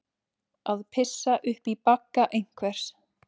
Að pissa upp í bagga einhvers